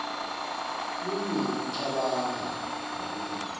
lulwimi kucabanga nekunoma